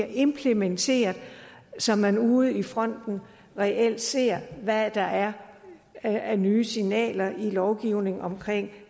implementeret så man ude i fronten reelt ser hvad der er er af nye signaler i lovgivningen omkring